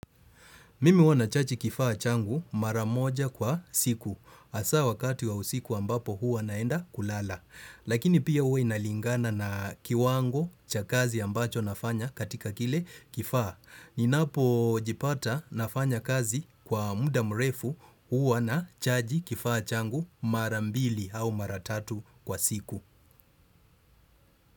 Mimi huwa na chaji kifaa changu maramoja kwa siku. Hasa wakati wa usiku ambapo huwa naenda kulala. Lakini pia huwa inalingana na kiwango cha kazi ambacho nafanya katika kile kifaa. Ninapo jipata nafanya kazi kwa muda mrefu huwa na chaji kifaa changu marambili au maratatu kwa siku.